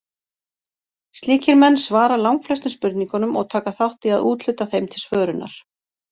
Slíkir menn svara langflestum spurningunum og taka þátt í að úthluta þeim til svörunar.